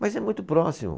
Mas é muito próximo.